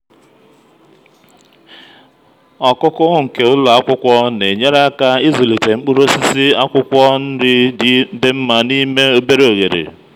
ọkụkụ nke ụlọ akwụkwọ na-enyere aka ịzụlite mkpụrụ osisi akwụkwọ nri dị mma n'ime obere oghere.